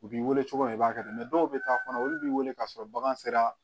U b'i wele cogo min na i b'a kɛ dɔw bɛ taa kɔnɔ olu b'i wele k'a sɔrɔ bagan sera